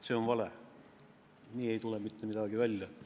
See on vale, nii ei tule mitte midagi välja.